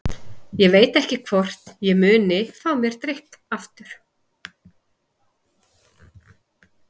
Ég veit ekki hvort ég muni fá mér drykk aftur.